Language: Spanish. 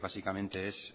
básicamente es